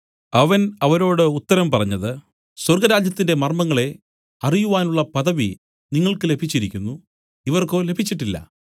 അവൻ അവരോട് ഉത്തരം പറഞ്ഞത് സ്വർഗ്ഗരാജ്യത്തിന്റെ മർമ്മങ്ങളെ അറിയുവാനുള്ള പദവി നിങ്ങൾക്ക് ലഭിച്ചിരിക്കുന്നു ഇവർക്കോ ലഭിച്ചിട്ടില്ല